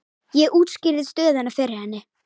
Ég útskýrði stöðuna fyrir henni.